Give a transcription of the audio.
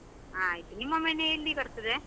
ಆಯ್ತು, ನಿಮ್ಮ ಮನೆ ಎಲ್ಲಿ ಬರ್ತದೆ?